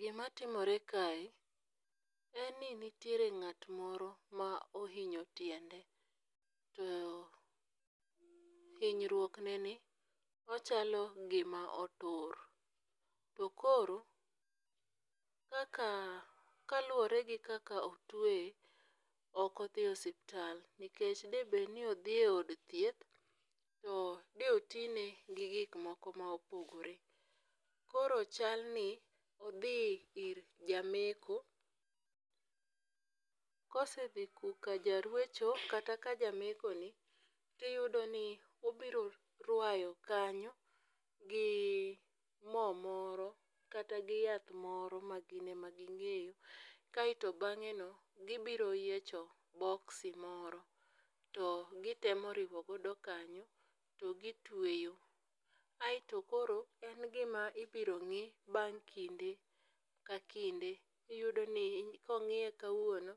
Gimatimore kae, en ni nitiere ng'at moro ma ohinyo tiende, hinyruok neni ochalo gima otur, to koro kaka kaluwore gi kaka otweye, ok odhi e osiptal nikech debed ni odhiye od thieth, to de otine gi gikmoko ma opogore. Koro chal ni odhi ir jameko, kosedhi ku ka jarwecho kata ka jamekoni, tiyudo ni obiro rwayo kanyo gi mo moro kata gi yath moro ma gin ema ging'eyo kaeto bang'eno gibiro yiecho boksi moro to gitemo riwo godo kanyo to gitweyo. Aeto koro en gima ibiro ng'i bang' kinde ka kinde, iyudoni kong'iye kawuono,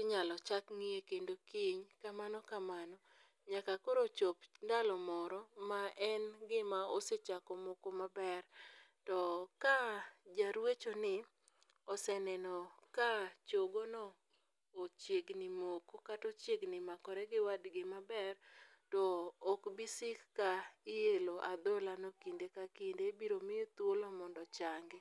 inyalo chak ng'iye kendo kiny, kamano kamano, nyaka koro chop ndalo moro ma en gima osechako moko maber to ka jarwechoni oseneno ka chogono ochiegni moko kata ochiegni makore gi wadgi maber to okbisik ka iyelo adholano kinde ka kinde, ibiro miye thuolo mondo ochangi.